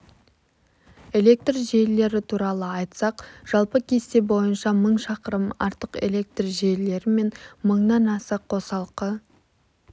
электр желілері туралы айтсақ жалпы кесте бойынша мың шақырым артық электр желілері мен мыңнан аіа қосалқы